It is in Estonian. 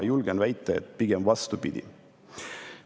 Ma julgen väita, et pigem vastupidi.